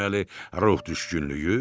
Deməli ruh düşkünlüyü?